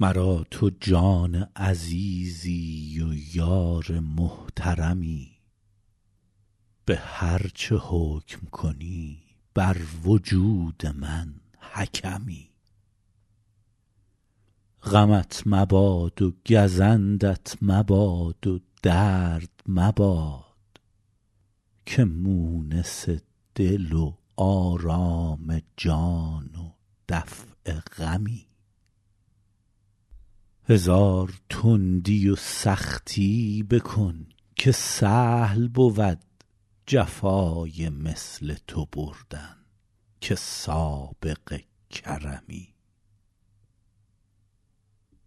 مرا تو جان عزیزی و یار محترمی به هر چه حکم کنی بر وجود من حکمی غمت مباد و گزندت مباد و درد مباد که مونس دل و آرام جان و دفع غمی هزار تندی و سختی بکن که سهل بود جفای مثل تو بردن که سابق کرمی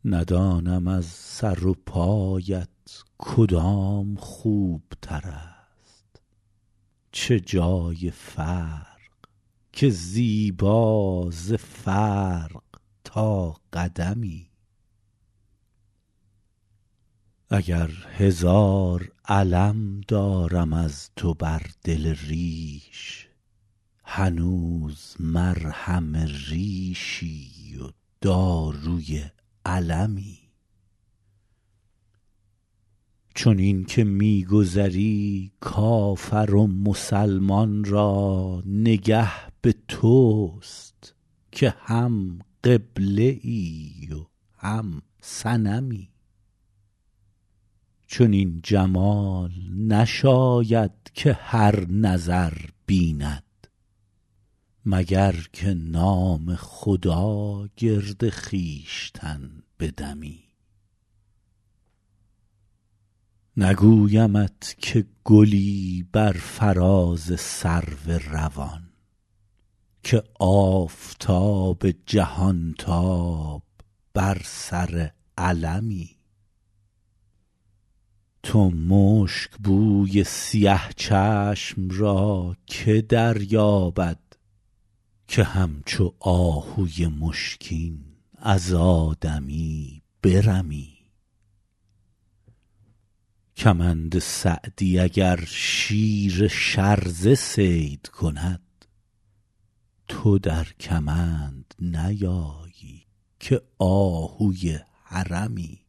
ندانم از سر و پایت کدام خوبتر است چه جای فرق که زیبا ز فرق تا قدمی اگر هزار الم دارم از تو بر دل ریش هنوز مرهم ریشی و داروی المی چنین که می گذری کافر و مسلمان را نگه به توست که هم قبله ای و هم صنمی چنین جمال نشاید که هر نظر بیند مگر که نام خدا گرد خویشتن بدمی نگویمت که گلی بر فراز سرو روان که آفتاب جهانتاب بر سر علمی تو مشکبوی سیه چشم را که دریابد که همچو آهوی مشکین از آدمی برمی کمند سعدی اگر شیر شرزه صید کند تو در کمند نیایی که آهوی حرمی